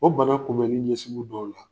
O bana kunbɛnni ɲɛsigiw dɔw la